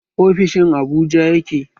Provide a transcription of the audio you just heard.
Ofishin a Abuja yake